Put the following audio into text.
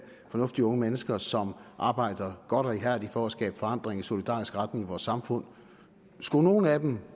fornuftige unge mennesker som arbejder godt og ihærdigt for at skabe forandring i solidarisk retning i vores samfund skulle nogen af dem